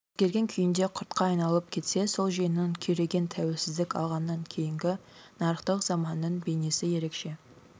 өзгерген күйінде құртқа айналып кетсе сол жүйенің күйреген тәуелсіздік алғаннан кейінгі нарықтық заманның бейнесі ерекше